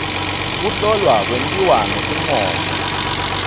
kuhlolwa kwentiwa ngesincomo